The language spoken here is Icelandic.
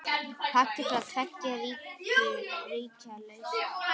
Fallið frá tveggja ríkja lausn?